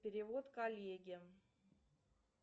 перевод коллеге